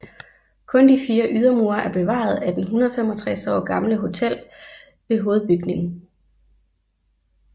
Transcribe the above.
Kun de fire ydermure er bevaret af den 165 år gamle hotel hovedbygning